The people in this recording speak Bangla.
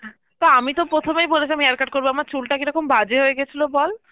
তো আমি তো প্রথমেই বলেছিলাম hair cut করব আমার চুলটা কীরকম বাজে হয়ে গেছিল বল?